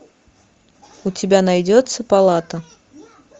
у тебя найдется палата